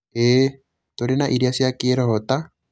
ĩĩ, tũrĩ na irĩa cia kĩroho ta: